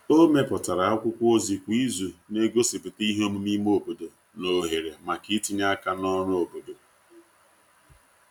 o meputara akwụkwo ozi kwa izu n'egosiputa ihe omume ime obodo na ohere maka itinye aka n'ọrụ obodo